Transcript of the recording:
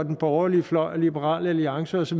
den borgerlige fløj liberal alliance osv